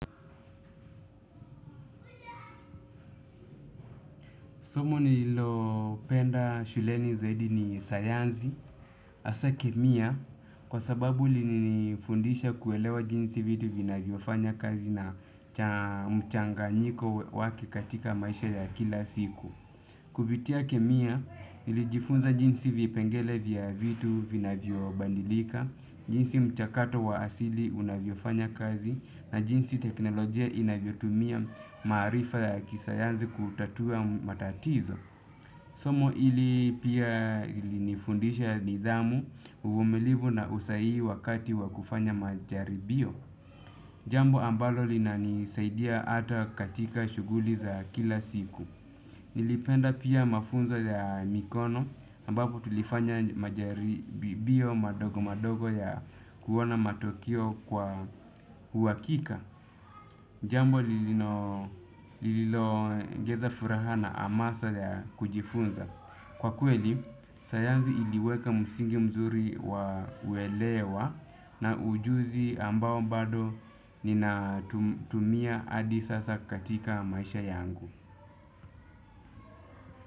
Somo nililopenda shuleni zaidi ni sayansi hasa kemia kwa sababu lilinifundisha kuelewa jinsi vitu vinavyofanya kazi na mchanganyiko wake katika maisha ya kila siku. Kupitia kemia, nilijifunza jinsi vipengele vya vitu vinavyobadilika, jinsi mchakato wa asili unavyofanya kazi na jinsi teknolojia inavyotumia maarifa ya kisayansi kutatua matatizo. Somo hili pia lilinifundisha nidhamu, uvumilivu na usahihi wakati wa kufanya majaribio. Jambo ambalo linanisaidia hata katika shughuli za kila siku. Nilipenda pia mafunzo ya mikono ambapo tulifanya majaribio madogo madogo ya kuona matokeo kwa uhakika. Jambo lililongeza furaha na hamasa ya kujifunza. Kwa kweli, sayansi iliweka msingi mzuri wa uelewa na ujuzi ambao bado ninatumia hadi sasa katika maisha yangu.